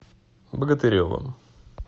богатыревым